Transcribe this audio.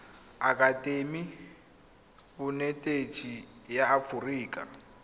akatemi ya bonetetshi ya aforika